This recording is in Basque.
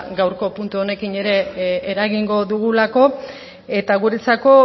gaurko puntu honekin ere eragingo dugulako eta guretzako